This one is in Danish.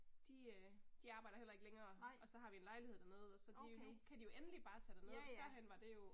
De øh, de arbejder heller ikke længere og så har vi en lejlighed dernede og så de nu kan de jo endelig bare tage derned førhen var det jo